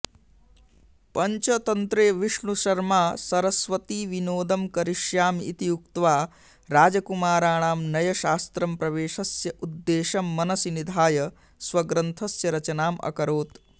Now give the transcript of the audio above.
पञ्चतन्त्रे विष्णुशर्मा सरस्वतीविनोदं करिष्यामि इति उक्त्वा राजकुमाराणां नयशास्त्रं प्रवेशस्य उद्देशं मनसि निधाय स्वग्रन्थस्य रचनाम् अकरोत्